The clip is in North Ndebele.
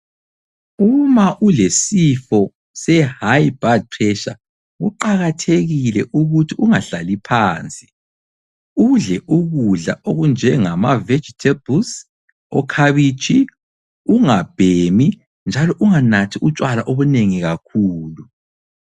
Uma ulesifo se High Blood Pressure, kuqakathekile ukuthi ungahlali phansi. Udle ukudla okunjengama vegetables, okhabitshi, ungabhemi njalo unganathi utshwala obunengi kakhulu.